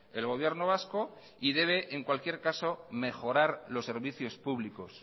el gobierno vasco y debe en cualquier caso mejorar los servicios públicos